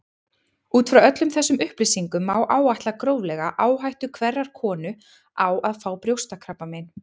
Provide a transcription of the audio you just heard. Út frá öllum þessum upplýsingum má áætla gróflega áhættu hverrar konu á að fá brjóstakrabbamein.